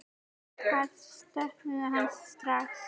Þær söknuðu hans sárt.